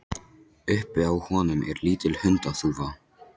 Uppi á honum er lítil hundaþúfa.